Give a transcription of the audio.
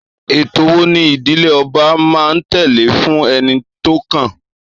Ètò wo ni ìdílé ọba máa ń tẹ̀lé fún ẹni tó kàn?